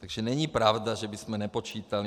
Takže není pravda, že bychom nepočítali.